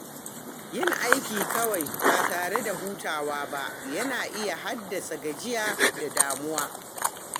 Yin aiki kawai ba tare da hutawa ba yana iya haddasa gajiya da damuwa.